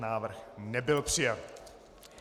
Návrh nebyl přijat.